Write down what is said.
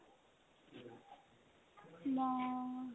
মই